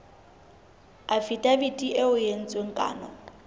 afidaviti eo ho entsweng kano